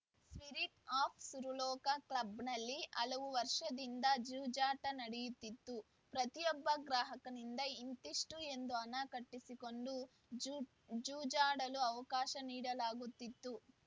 spirit of Suraloka ಕ್ಲಬ್‌ನಲ್ಲಿ ಹಲವು ವರ್ಷದಿಂದ ಜೂಜಾಟ ನಡೆಯುತ್ತಿತ್ತು ಪ್ರತಿಯೊಬ್ಬ ಗ್ರಾಹಕನಿಂದ ಇಂತಿಷ್ಟುಎಂದು ಹಣ ಕಟ್ಟಿಸಿಕೊಂಡು ಜೂ ಜೂಜಾಡಲು ಅವಕಾಶ ನೀಡಲಾಗುತ್ತಿತ್ತು